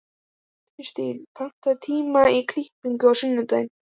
Kirstín, pantaðu tíma í klippingu á sunnudaginn.